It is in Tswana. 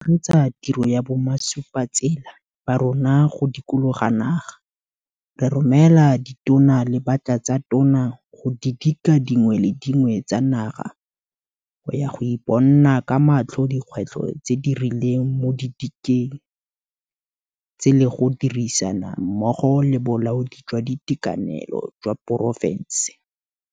Fa o tshegetsa motho yo o mo ratang, Ludziya a re go a thusa go tlhaloganya ka fao kutlobotlhoko e tsamayang ka teng le gore mongwe le mongwe o na le maitemogelo a a farologaneng a yona.